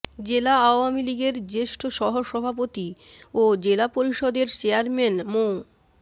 জেলা আওয়ামী লীগের জ্যেষ্ঠ সহসভাপতি ও জেলা পরিষদের চেয়ারম্যান মো